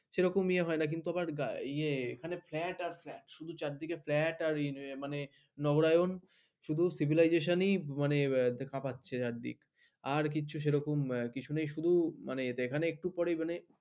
সেরকম ইয়ে হয় না কিন্তু ইয়ে এখানে ফ্ল্যাট আর ফ্ল্যাট। শুধু চারদিকে ফ্ল্যাট আর মানে নবরায়ন। শুধু civilization দেখা পাচ্ছে চারদিক । আর কিচ্ছু সেরকম কিছু নেই শুধু এখানে একটু পরেই মানে।